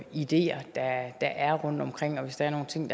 ideer der er rundtomkring og hvis der er nogle ting